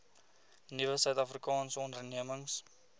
nuwe suidafrikaanse ondernemings